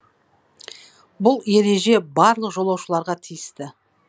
бұл ереже барлық жолаушыларға тиісті